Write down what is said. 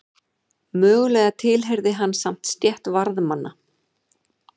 Mögulega tilheyrði hann samt stétt varðmanna.